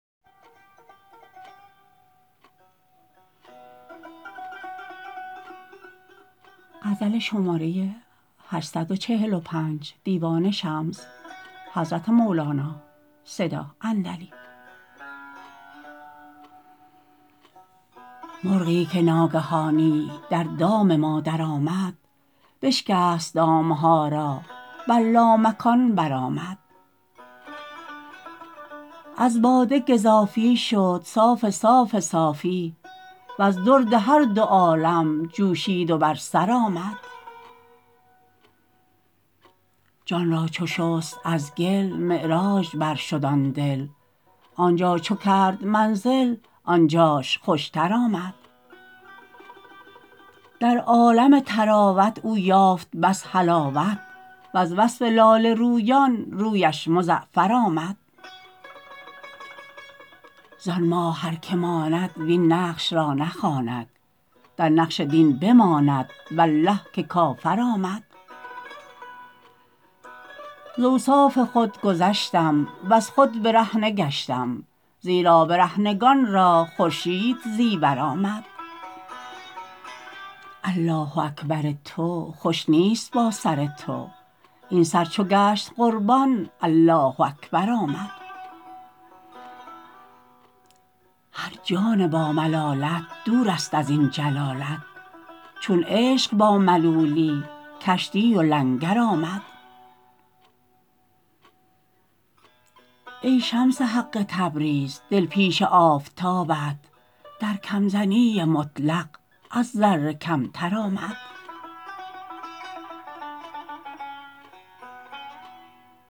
مرغی که ناگهانی در دام ما درآمد بشکست دام ها را بر لامکان برآمد از باده گزافی شد صاف صاف صافی وز درد هر دو عالم جوشید و بر سر آمد جان را چو شست از گل معراج برشد آن دل آن جا چو کرد منزل آن جاش خوشتر آمد در عالم طراوت او یافت بس حلاوت وز وصف لاله رویان رویش مزعفر آمد زان ماه هر که ماند وین نقش را نخواند در نقش دین بماند والله که کافر آمد ز اوصاف خود گذشتم وز خود برهنه گشتم زیرا برهنگان را خورشید زیور آمد الله اکبر تو خوش نیست با سر تو این سر چو گشت قربان الله اکبر آمد هر جان باملالت دورست از این جلالت چون عشق با ملولی کشتی و لنگر آمد ای شمس حق تبریز دل پیش آفتابت در کم زنی مطلق از ذره کمتر آمد